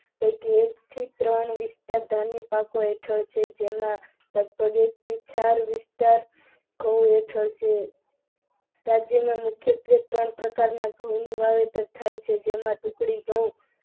પૈકી એક થી ત્રણ વિસ્તાર ધાન્યો પાકો હેઠળ છે કે જેમાં, સ્વદેશી ચાર વિસ્તાર ઘઉં હેઠળ છે. રાજ્યમાં મુખ્યત્વે ત્રણ પ્રકારના ઘઉંનું વાવેતર થાય છે જેમાં, ટુકડી ગયું ઘઉં,